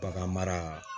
Bagan mara